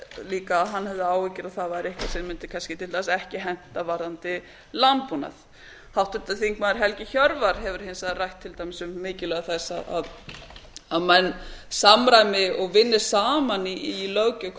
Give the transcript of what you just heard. líka að hann hefði áhyggjur af að það væri eitthvað sem mundi kannski til dæmis ekki henta varðandi landbúnað háttvirtur þingmaður helgi hjörvar hefur hins vegar rætt til dæmis um mikilvægi þess að menn samræmi og vinni saman í löggjöf hvað